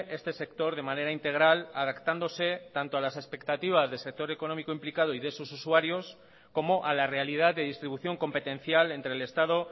este sector de manera integral adaptándose tanto a las expectativas del sector económico implicado y de sus usuarios como a la realidad de distribución competencial entre el estado